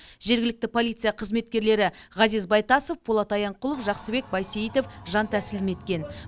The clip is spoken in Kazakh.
жергілікті полиция қызметкерлері ғазиз байтасов полат аянқұлов жақсыбек байсейітов жан тәсілім еткен